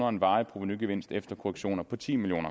og en varig provenugevinst efter korrektioner på ti million